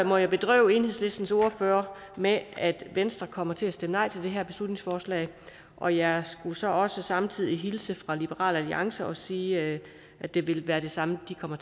må jeg bedrøve enhedslistens ordfører med at venstre kommer til at stemme nej til det her beslutningsforslag og jeg skal så også samtidig hilse fra liberal alliance og sige at det vil være det samme de kommer